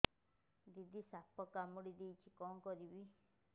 ଦିଦି ସାପ କାମୁଡି ଦେଇଛି କଣ କରିବି